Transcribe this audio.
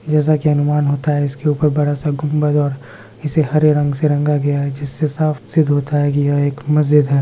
जैसा की अनुमान होता है इसके ऊपर एक बड़ा सा गुम्बद इसे हरे रंग से रंगा गया है इससे साफ सिद्ध होता है यह एक मस्जिद है।